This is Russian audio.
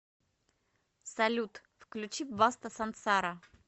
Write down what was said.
салют включи баста сансара